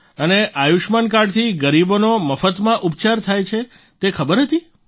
અને આયુષ્યમાન કાર્ડથી ગરીબોનો મફતમાં ઉપચાર થાય છે તે ખબર હતી